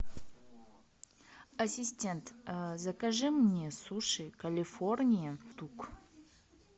ассистент закажи мне суши калифорния тук